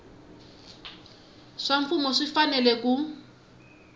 swa mfumo swi fanele ku